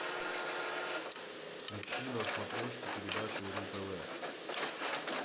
включи на смотрешке передачу ру тв